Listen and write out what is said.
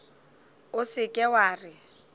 o se ke wa re